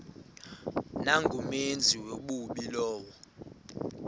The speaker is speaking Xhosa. nangumenzi wobubi lowo